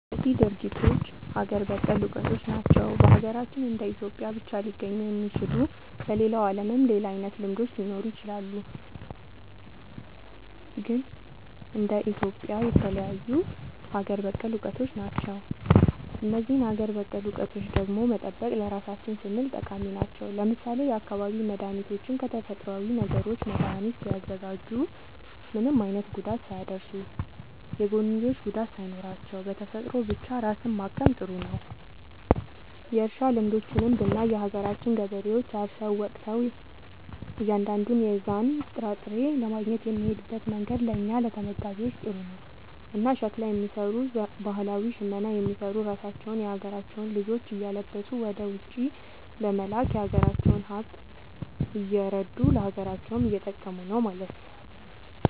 እነዚህ ድርጊቶች ሀገር በቀል እውቀቶች ናቸው። በሀገራችን እንደ ኢትዮጵያ ብቻ ሊገኙ የሚችሉ። በሌላው ዓለምም ሌላ አይነት ልምዶች ሊኖሩ ይችላሉ። ግን እንደ ኢትዮጵያ የተለዩ ሀገር በቀል እውቀቶች ናቸው። እነዚህን ሀገር በቀል እውቀቶች ደግሞ መጠበቅ ለራሳችን ስንል ጠቃሚ ናቸው። ለምሳሌ የአካባቢ መድኃኒቶችን ከተፈጥሮዊ ነገሮች መድኃኒት ሲያዘጋጁ ምንም አይነት ጉዳት ሳያደርሱ፣ የጎንዮሽ ጉዳት ሳይኖራቸው፣ በተፈጥሮ ብቻ ራስን ማከም ጥሩ ነዉ። እርሻ ልምዶችንም ብናይ የሀገራችን ገበሬዎች አርሰው ወቅተው እያንዳንዱን የዛን ጥራጥሬ ለማግኘት የሚሄድበት መንገድ ለእኛ ለተመጋቢዎች ጥሩ ነው። እና ሸክላ የሚሰሩ ባህላዊ ሽመና የሚሰሩ ራሳቸውን የሀገራቸውን ልጆች እያለበሱ ወደ ውጪ በመላክ የሀገራቸውን ሃብት እያረዱ ለሀገራቸውም እየጠቀሙ ነው ማለት።